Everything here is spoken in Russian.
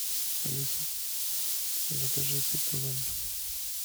алиса закажи пиццу в номер